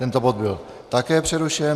Tento bod byl také přerušen.